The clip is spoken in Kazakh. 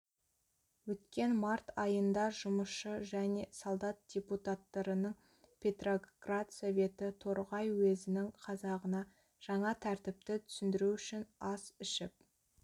өткен март айында жұмысшы және солдат депутаттарының петроград советі торғай уезінің қазағына жаңа тәртіпті түсіндіру үшін ас ішіп